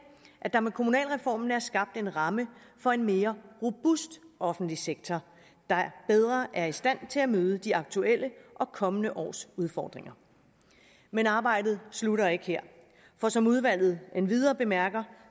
at der med kommunalreformen er skabt en ramme for en mere robust offentlig sektor der bedre er i stand til at møde de aktuelle og kommende års udfordringer men arbejdet slutter ikke her for som udvalget endvidere bemærker